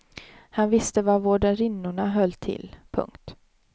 Han visste var vårdarinnorna höll till. punkt